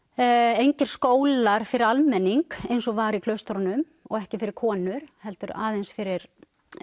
engir skólar fyrir almenning eins og var í klaustrunum og ekki fyrir konur heldur aðeins fyrir